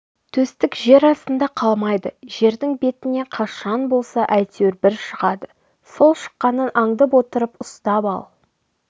төстік жер астында қалмайды жердің бетіне қашан болса әйтеуір бір шығады сол шыққанын андып отырып ұстап ал